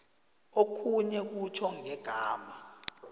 okhunye kutjho ngegama